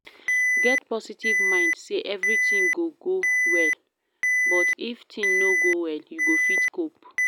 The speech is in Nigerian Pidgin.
Get positive mind sey everything go go well but if thing no go well you go fit cope